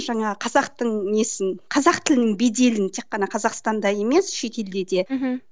жаңағы қазақтың несін қазақ тілін беделін тек қана қазақстанда емес шетелде де мхм